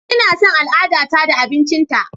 Ina son al'adata da abincinta.